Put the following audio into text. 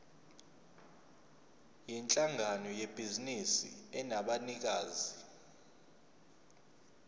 yinhlangano yebhizinisi enabanikazi